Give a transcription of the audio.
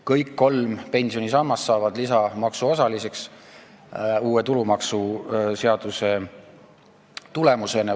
Kõik kolm pensionisammast on uue tulumaksuseaduse tulemusel saanud maksustatavaks.